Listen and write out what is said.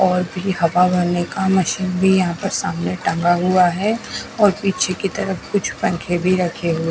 और भी हवा भरने का मशीन भी यहां पर सामने टंगा हुआ है और पीछे की तरफ कुछ पंखे भी रखे हुए।